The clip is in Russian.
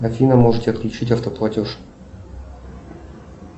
афина можете отключить автоплатеж